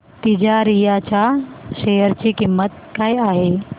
तिजारिया च्या शेअर ची किंमत काय आहे